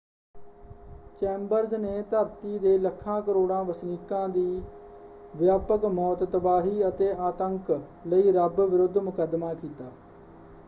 Chambers ਨੇ ਧਰਤੀ ਦੇ ਲੱਖਾਂ ਕਰੋੜਾਂ ਵਸਨੀਕਾਂ ਦੀ ਵਿਆਪਕ ਮੌਤ ਤਬਾਹੀ ਅਤੇ ਆਤੰਕ ਲਈ ਰੱਬ ਵਿਰੁੱਧ ਮੁਕੱਦਮਾ ਕੀਤਾ।